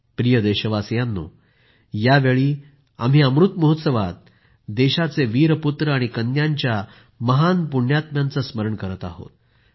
प्रिय देशवासियांनो यावेळी आम्ही अमृत महोत्सवात देशाचे वीर पुत्र आणि कन्यांच्या महान पुण्यात्म्यांचं स्मरण करत आहोत